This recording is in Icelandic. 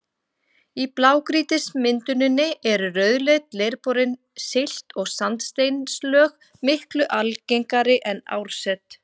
Í blágrýtismynduninni eru rauðleit, leirborin silt- og sandsteinslög miklu algengari en árset.